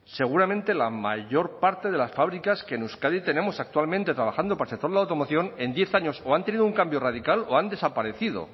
seguramente la mayor parte de las fábricas que en euskadi tenemos actualmente trabajando para el sector de la automoción en diez años o han tenido un cambio radical o han desaparecido